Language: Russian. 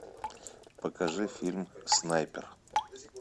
покажи фильм снайпер